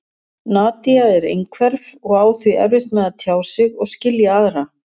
Nadia er einhverf og á því erfitt með að tjá sig og skilja aðra.